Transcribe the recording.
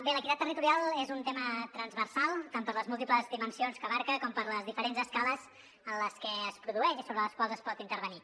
bé l’equitat territorial és un tema transversal tant per les múltiples dimensions que abraça com per les diferents escales en les que es produeix i sobre les quals es pot intervenir